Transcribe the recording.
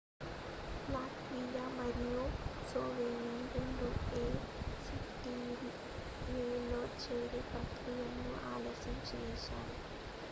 Latvia మరియు Slovakia రెండూ ACTA లో చేరే ప్రక్రియను ఆలస్యం చేశాయి